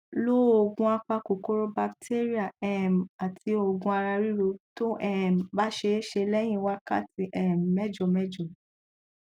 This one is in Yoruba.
lo òògù apa kòkòrò batéríà um àti òògùn ara ríro tó um bá ṣeése lẹyìn wákàtí um mẹjọ mẹjọ